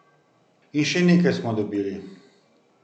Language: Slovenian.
In še nekaj smo dobili.